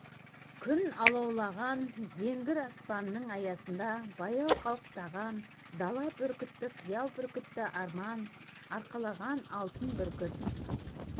күн алаулаған зеңгір аспанның аясында баяу қалықтаған дала бүркіті қиял бүркіті арман арқалаған алтын бүркіт